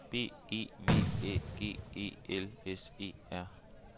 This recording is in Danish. B E V Æ G E L S E R